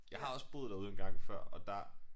Jeg har også boet derude en gang før og der